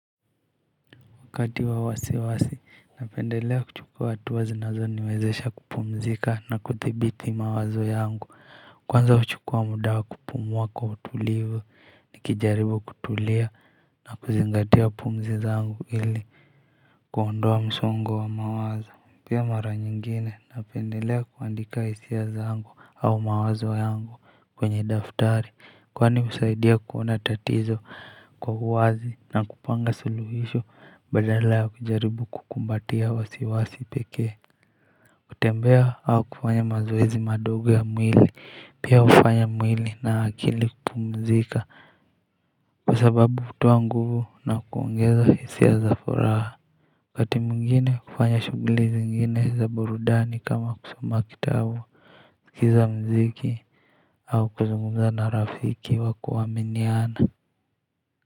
Wakati wa wasiwasi napendelea kuchukua hatua zinazoniwezesha kupumzika na kuthibiti mawazo yangu kwanza huchukua muda wa kupumua kwa utulivu nikijaribu kutulia na kuzingatia pumzi zangu ili kuondoa msongo wa mawazo. Pia mara nyingine napendelea kuandika hisia zangu au mawazo yangu kwenye daftari kwani husaidia kuona tatizo kwa uwazi na kupanga suluhisho badala ya kujaribu kukumbatia wasiwasi pekee. Kutembea au kufanya mazoezi madogo ya mwili pia hufanya mwili na akili kupumzika kwa sababu hutoa nguvu na kuongeza hisia za furaha. Waskati mwingine hufanya shughuli zingine za burudani kama kusoma kitabu sikiza muziki au kuzungumza na rafiki wa kuaminiana.